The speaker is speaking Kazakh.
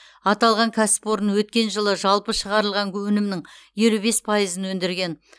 аталған кәсіпорын өткен жылы жалпы шығарылған өнімнің елу бес пайызын өндірген